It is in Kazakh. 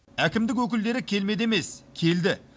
әкімдік өкілдері келмеді емес келді